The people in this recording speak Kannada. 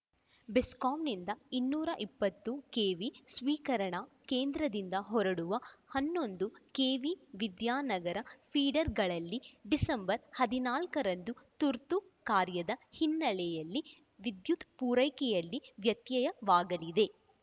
ಬೆಸ್ಕಾಂನಿಂದ ಇನ್ನೂರ ಇಪ್ಪತ್ತು ಕೆವಿ ಸ್ವೀಕರಣಾ ಕೇಂದ್ರದಿಂದ ಹೊರಡುವ ಹನ್ನೊಂದು ಕೆವಿ ವಿದ್ಯಾನಗರ ಫೀಡರ್‌ಗಳಲ್ಲಿ ಡಿಸೆಂಬರ್ ಹದಿನಾಲ್ಕ ರಂದು ತುರ್ತು ಕಾರ್ಯದ ಹಿನ್ನಲೆಯಲ್ಲಿ ವಿದ್ಯುತ್‌ ಪೂರೈಕೆಯಲ್ಲಿ ವ್ಯತ್ಯಯವಾಗಲಿದೆ